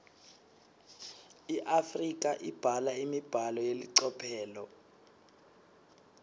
iafrika ibhala imibhalo yelicophelo